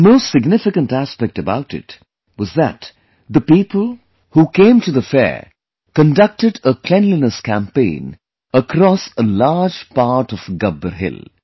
The most significant aspect about it was that the people who came to the fair conducted a cleanliness campaign across a large part of Gabbar Hill